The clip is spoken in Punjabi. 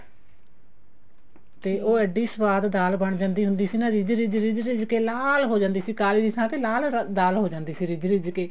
ਤੇ ਉਹ ਇੱਡੀ ਸਵਾਦ ਦਾਲ ਬਣ ਜਾਂਦੀ ਹੁੰਦੀ ਸੀ ਨਾ ਰਿੱਝ ਰਿੱਝ ਕੇ ਲਾਲ ਹੋ ਜਾਂਦੀ ਸੀ ਕਾਲੀ ਦੀ ਥਾਂ ਤੇ ਲਾਲ ਦਾਲ ਹੋ ਜਾਂਦੀ ਸੀ ਰਿੱਝ ਰਿੱਝ ਕੇ